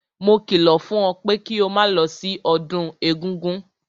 Mo kìlọ̀ fún ẹ pé kí o máa lọ sí ọdún egúngún!